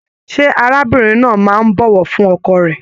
Ṣe arábìnrin náà máa n bọwọ fún ọkọ rẹ?